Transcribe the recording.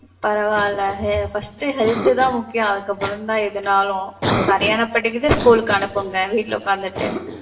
பரவாயில்லையே, first health தான் முக்கியம். அதுக்கு அப்புறம் தான் எதுனாலும். சரியானா படிக்குது school க்கு அனுப்புங்க, வீட்ல உக்காந்துக்கிட்டு.